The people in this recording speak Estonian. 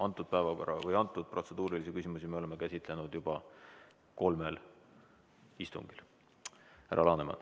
Antud oleme protseduurilisi küsimusi käsitlenud juba kolmel istungil.